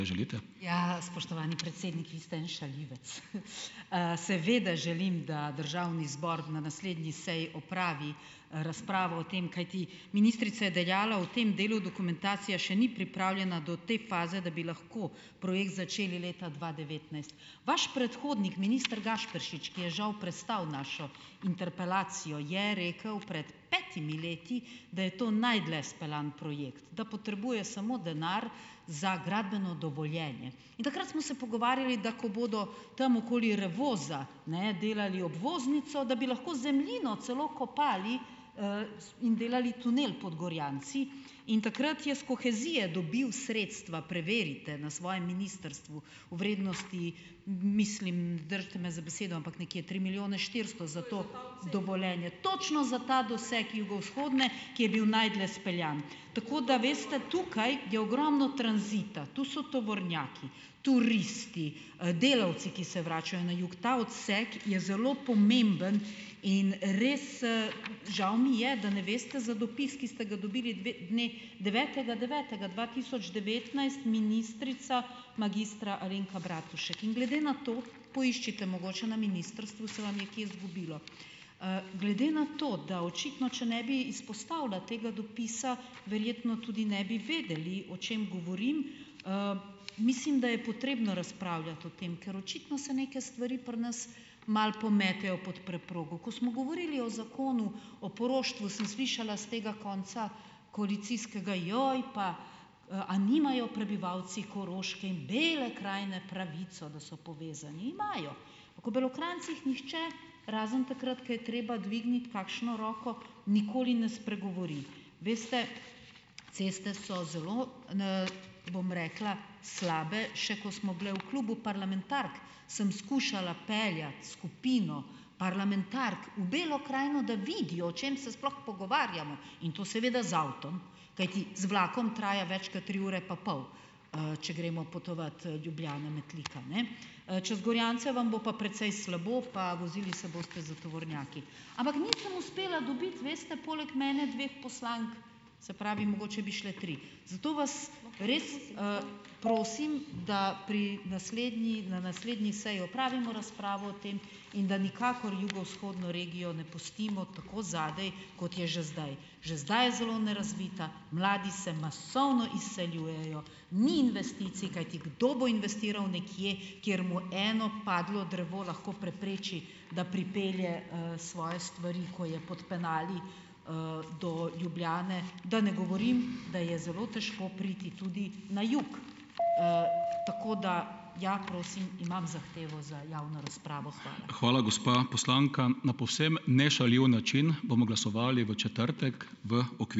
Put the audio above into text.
Ja, spoštovani predsednik , vi ste en šaljivec. seveda želim, da državni zbor na naslednji seji opravi, razpravo o tem, kajti ministrica je dejala: "O tem delu dokumentacija še ni pripravljena do te faze, da bi lahko projekt začeli leta dva devetnajst." Vaš predhodnik, minister Gašperšič , je žal prestal našo interpelacijo, je rekel pred petimi leti, da je to najdlje speljan projekt, da potrebuje samo denar za gradbeno dovoljenje. Takrat smo se pogovarjali, da ko bodo tam okoli Revoza, ne, delali obvoznico, da bi lahko zemljino celo kopali, in delali tunel pod Gorjanci. In takrat je s kohezije dobil sredstva, preverite na svojem ministrstvu, v vrednosti mislim, držite me za besedo, ampak neke tri milijone štiristo za to . Točno za ta doseg jugovzhodne, ki je bil najdlje izpeljan. Tako da, veste, tukaj je ogromno tranzita. Tu so tovornjaki, turisti, delavci, ki se vračajo na jug, ta odsek je zelo pomemben in res, žal mi je, da ne veste za dopis, ki ste ga dobili dne devetega devetega dva tisoč devetnajst, ministrica magistra Alenka Bratušek. In glede na to, poiščite mogoče na ministrstvu, se vam je kje izgubilo. glede na to, da očitno, če ne bi izpostavila tega dopisa, verjeno tudi ne bi vedeli, o čem govorim. mislim, da je potrebno razpravljati o tem, ker očitno se neke stvari pri nas malo pometejo pot preprogo. Ko smo govorili o Zakonu o poroštvu, sem slišala s tega konca koalicijskega: "Joj pa, a nimajo prebivalci Koroške in Bele krajine pravico, da so povezani?" Imajo. O Belokranjcih nihče, razen takrat, ko je treba dvigniti kakšno roko, nikoli ne spregovori. Veste, ceste so zelo, , bom rekla, slabe. Še ko smo bile v klubu parlamentark, sem skušala peljati skupino parlamentark v Belo krajino, da vidijo, o čem se sploh pogovarjamo. In to seveda z avtom, kajti z vlakom traja več kot tri ure pa pol. če gremo potovat, Ljubljana-Metlika, ne. čez Gorjance vam bo pa precej slabo pa vozili se boste za tovornjaki. Ampak nisem uspela dobiti, veste, poleg mene dveh poslank, se pravi, mogoče bi šle tri. Zato vas res, prosim , da pri naslednji, na naslednji seji opravimo razpravo o tem in da nikakor jugovzhodno regijo ne pustimo tako zadaj, kot je že zdaj. Že zdaj je zelo nerazvita, mladi se masovno izseljujejo, ni investicij, kajti kdo bo investiral nekje, kjer mu eno padlo drevo lahko prepreči, da pripelje, svoje stvari, ko je pod penali, do Ljubljane. Da ne govorim, da je zelo težko priti tudi na jug. tako, da ja, prosim, imam zahtevo za javno razpravo. Hvala.